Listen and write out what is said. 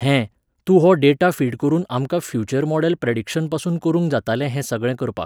हें, तूं हो डेटा फीड करून आमकां फ्युच्यर मॉडल प्रॅडिक्शनपासून करूंक जातालें हे सगळें करपाक